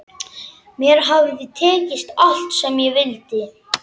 Mér hafði tekist allt sem ég vildi.